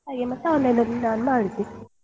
ಹಾಗೆ ಮತ್ತೆ online ಅಲ್ಲಿ ನಾನು ಮಾಡಿದ್ದು.